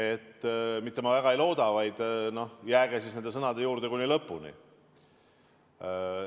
Ma mitte väga ei looda, vaid jääge siis nende sõnade juurde kuni lõpuni.